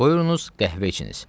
Qoyursunuz qəhvə içiniz.